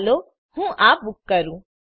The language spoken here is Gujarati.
ચાલો હું આ બૂક કરું